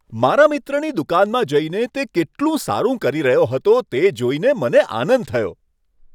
મારા મિત્રની દુકાનમાં જઈને તે કેટલું સારું કરી રહ્યો હતો તે જોઈને મને આનંદ થયો.